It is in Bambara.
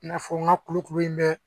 I n'a fɔ n ka kulukuru in bɛ